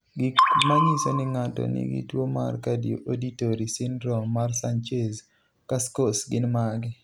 Gik manyiso ni ng'ato nigi tuwo mar Cardioauditory syndrome mar Sanchez Cascos gin mage?